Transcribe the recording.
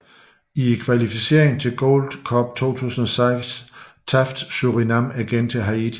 I kvalificeringen til Gold Cup i 2006 tabte Surinam igen til Haiti